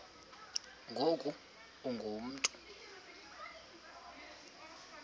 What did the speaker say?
ngoku ungu mntu